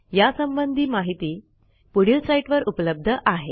यासंबंधी माहिती पुढील साईटवर उपलब्ध आहे